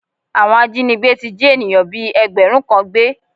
Àwọn ajínigbé ti jí ènìyàn bíi ẹgbẹ̀rún kan gbé